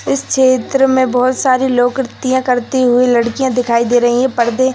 इस चित्र में बहुत सारी लोकोक्तियाँ करती हुए लड़किया दिखाई दे रही हैं। परदे --